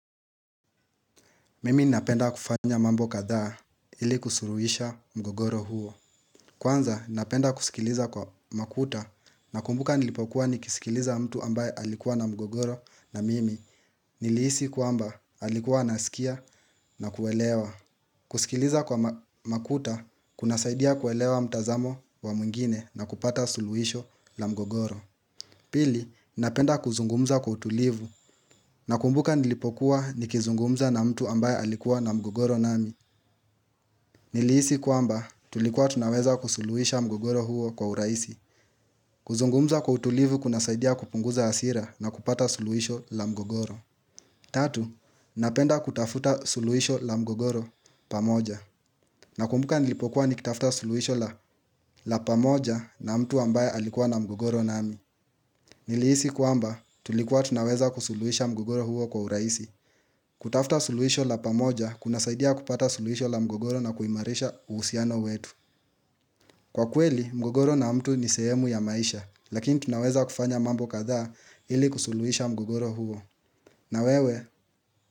Mimi napenda kufanya mambo kadhaa ili kusuluhisha mgogoro huo. Kwanza napenda kusikiliza kwa makuta nakumbuka nilipokuwa nikisikiliza mtu ambaye alikuwa na mgogoro na mimi nilihisi kwamba alikuwa anasikia na kuelewa. Kusikiliza kwa makuta kunasaidia kuelewa mtazamo wa mwingine nakupata suluhisho la mgogoro. Pili, napenda kuzungumza kwa utulivu. Nakumbuka nilipokuwa nikizungumza na mtu ambaye alikuwa na mgogoro nami. Nilihisi kwamba tulikuwa tunaweza kusuluhisha mgogoro huo kwa urahisi. Kuzungumza kwa utulivu kunasaidia kupunguza hasira na kupata suluhisho la mgogoro. Tatu, napenda kutafuta suluhisho la mgogoro pamoja. Nakumbuka nilipokuwa nikitafuta suluhisho la pamoja na mtu ambaye alikuwa na mgogoro nami. Nilihisi kwamba tulikuwa tunaweza kusuluhisha mgogoro huo kwa urahisi. Kutafuta suluhisho la pamoja kunasaidia kupata suluhisho la mgogoro na kuimarisha uhusiano wetu. Kwa kweli, mgogoro na mtu ni sehemu ya maisha, lakini tunaweza kufanya mambo kadhaa ili kusuluhisha mgogoro huo. Na wewe,